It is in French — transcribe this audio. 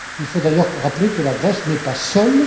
Il faut d'ailleurs rappeler que la Grèce n'est pas seule.